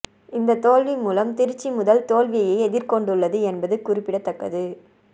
இந்த தோல்வி மூலம் திருச்சி முதல் தோல்வியை எதிர்கொண்டுள்ளது என்பது குறிப்பிடத்தக்கது